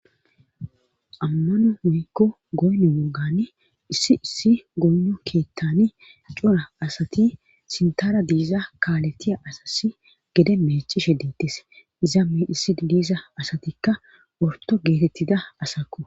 ammano woykko goone wogan issi issi goono keettani cora asati sintara diiza kaaletiya asassi gede mecishe diittis izaame issi diisa asatikka orto geetettida asaku